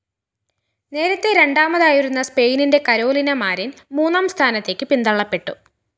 നേരത്തെ രണ്ടാമതായിരുന്ന സ്‌പെയിനിന്റെ കരോലിന മാരിന്‍ മൂന്നാം സ്ഥാനത്തേക്ക് പിന്തള്ളപ്പെട്ടു